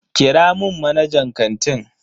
Kira mun manajan kantin.